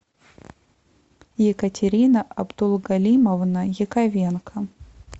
екатерина абдулгалимовна яковенко